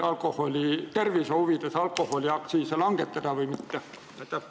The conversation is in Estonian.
Kas tervise huvides tuleks alkoholiaktsiise langetada või pigem mitte?